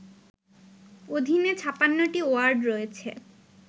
অধীনে ৫৬টি ওয়ার্ড রয়েছে